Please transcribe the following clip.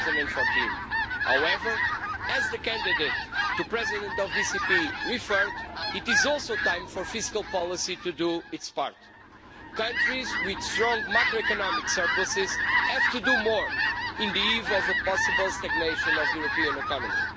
2014. However, as the candidate for President of the ECB referred, it is also time for fiscal policy to do its part. Countries with strong macroeconomic surpluses have to do more on the eve of a possible stagnation of the European economy.